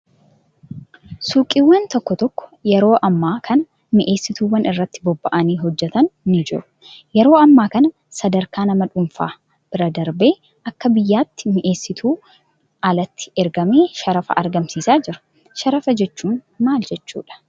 Suuqiiwwan tokko tokko yeroo ammaa kan mi'eessituuwwan irratti bobba'anii hojjatan ni jiru. Yeroo ammaa kana sadarkaa nama dhuunfaa bira darbee akka biyyaatti mi'eessituun alatti ergamee sharafa argamsiisaa jira. Sharafa jechuun maal jechuudhaa?